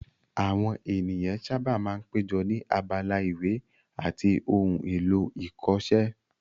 Àwọn ènìyàn sáábà máa ń péjọ ní abala ìwé àti ohun èlò ìkọṣẹ́